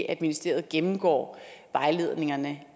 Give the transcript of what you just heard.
at ministeriet gennemgår vejledningerne